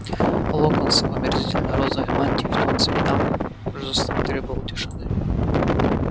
локонс в омерзительной розовой мантии в тон цветам жестом требовал тишины